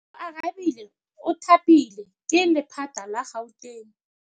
Oarabile o thapilwe ke lephata la Gauteng.